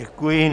Děkuji.